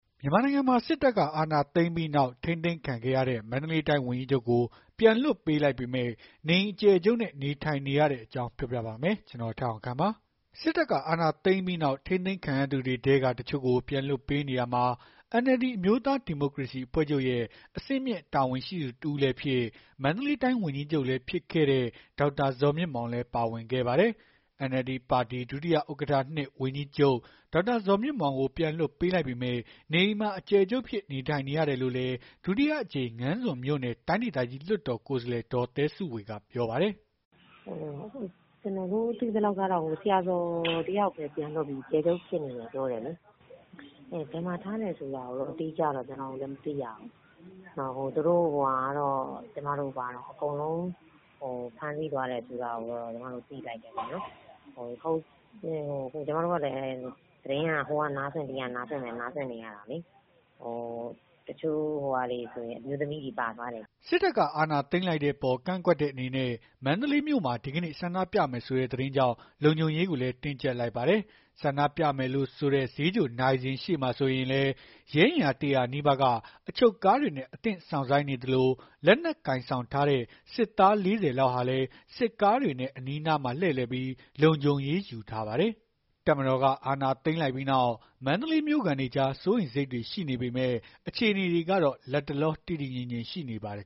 မြန်မာနိုင်ငံမှာ စစ်တပ်က အာဏာသိမ်းလိုက်ပြီးနောက် ထိန်းသိမ်းခံခဲ့ရတဲ့ ပြန်လွှတ်ပေးလိုက်ပေမဲ့ နေအိမ်အကျယ်ချုပ်နဲ့ နေထိုင်နေရတဲ့အကြောင်း ပြောပြပါမယ်။ ဗွီအိုအေမြန်မာပိုင်း သတင်းထောက် ကိုထက်အောင်ခန့်က သတင်းပေးပို့ထားပါတယ်။ စစ်တပ်က အာဏာသိမ်းလိုက်ပြီးနောက် ထိန်းသိမ်းခံလိုက်ရသူတွေထဲက တချို့ကို ပြန်လွှတ်ပေးနေရာမှာ NLD အမျိုးသား ဒီမိုကရေစီ အဖွဲ့ချုပ်ရဲ့ အဆင့်မြင့်တာဝန်ရှိသူ တဦးလည်းဖြစ် မန္တလေးတိုင်း ဝန်ကြီးချုပ်လည်းဖြစ်တဲ့ ဒေါက်တာဇော်မြင့်မောင်လည်း ပါဝင်ခဲ့ပါတယ်။ NLD ပါတီ ဒုဥက္ကဋ္ဌ ၂ ဝန်ကြီးချုပ် ဒေါက်တာဇော်မြင့်မောင်ကို ပြန်လွှတ်ပေးလိုက်ပေမဲ့ နေအိမ်မှာ အကျယ်ချုပ်အဖြစ် နေထိုင်နေရတယ်လို့လည်း ဒုတိယအကြိမ် ငါန်းဇွန်မြို့နယ် တိုင်းဒေသကြီး လွှတ်တော် ကိုယ်စားလှယ် ဒေါ်သဲစုဝေ ကပြောပါတယ်။ “ကျမတို့ သိသလောက်တော့ ဆရာဇော်တယောက်ပဲ ပြန်လွတ်ပြီး နေအိမ် အကျယ်ချုပ်ဖြစ်နေတယ်ပြောတယ်လေ။ ဘယ်မှာထားတယ်ဆိုတာကိုတော့ အတိအကျမသိရဘူး။ အကုန်လုံးဖမ်းဆီးသွားတယ်လို့ သိလိုက်တယ်ပေါ့။ ကျမတို့ကလည်း သတင်းက ဟိုကနားစွင့် ဒီကနားစွင့် နေရတာလေ တချို့ဆို အမျိုးသမီးတွေ ပါသွားတယ်ကြားတယ်။” စစ်တပ်က အာဏာသိမ်းလိုက်တဲ့အပေါ် ကန့်ကွက်တဲ့ အနေနဲ့ ဒီကနေ့ ဆန္ဒပြမယ်ဆိုတဲ့ သတင်းကြောင့် လုံခြုံရေးကိုလည်း တင်းကြပ်လိုက်ပါတယ်။ ဆန္ဒပြမယ်လို့ဆိုတဲ့ ဈေးချိုနာရီစင်ရှေ့မှာဆိုရင်လည်း ရဲအင်အား ၁၀၀ နီးပါးက အချုပ်ကားတွေနဲ့ အသင့် စောင့်ဆိုင်းနေသလို၊ လက်နက်ကိုင်ဆောင်ထားတဲ့ စစ်သား ၄၀ လောက်ဟာလည်း စစ်ကားတွေနဲ့ အနီးအနားမှာ လှည့်လည်ပြီး လုံခြုံရေး ယူထားပါတယ်။ တပ်မတော်က အာဏာသိမ်းလိုက်ပြီးနောက် စိုးရိမ်စိတ်တွေရှိနေပေမဲ့ အခြေအနေတွေကတော့ လတ်တလော တည်တည်ငြိမ်ငြိမ်ရှိနေပါတယ်